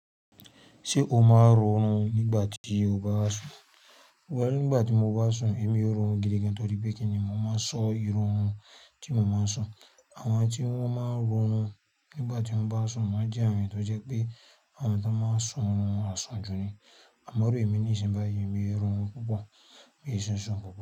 Ṣé o máa ń họrun nígbà tí o bá sùn? Well, nígbà tí mo bá sùn èmi ò ń họrun gidi gan torí pé kíni mo má ń sọ́ irú orun tí mo máa ń sùn. Àwọn tí wọ́n máa ń họrun nígbà tí wọ́n bá sùn máa ń jẹ́ àwọn èèyàn tó jẹ́ pé àwọn tó máa ń sun orin àsùnjù ni. Àmọ́ irú èmi nísìnyí bá yìí, èmi ò ń họrun púpọ̀, mi ì sísùn púpọ̀.